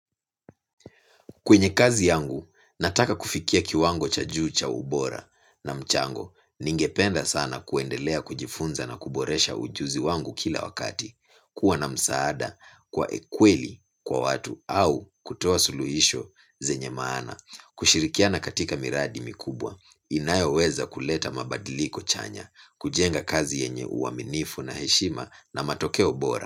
Kwenye kazi yangu nataka kufikia kiwango cha juu cha ubora na mchango ningependa sana kuendelea kujifunza na kuboresha ujuzi wangu kila wakati kuwa na msaada kwa kweli kwa watu au kutoa suluhisho zenye maana kushirikiana katika miradi mikubwa inayoweza kuleta mabadiliko chanya kujenga kazi yenye uaminifu na heshima na matokeo bora.